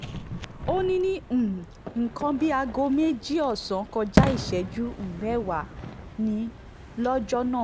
ó ní ní um nǹkan bíi aago méjì ọ̀sán kọjá ìṣẹ́jú um mẹ́wàá ni lọ́jọ́ náà